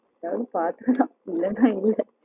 அதாவது பாத்துக்கலாம் இல்லன்னா இல்ல